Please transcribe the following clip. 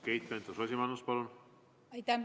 Keit Pentus-Rosimannus, palun!